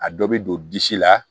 A dɔ bɛ don disi la